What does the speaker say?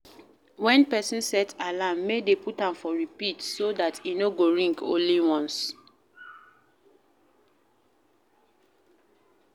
When person set alarm make dem put am for repeat so dat e no go ring only ones